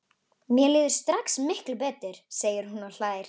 Mér líður strax miklu betur, segir hún og hlær.